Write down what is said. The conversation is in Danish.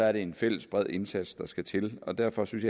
er det en fælles bred indsats der skal til og derfor synes